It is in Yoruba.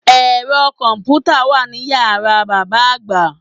Ẹ̀rọ kọ̀mpùtà wà ní yàrá bàbá àgbà